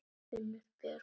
Unnur Björg.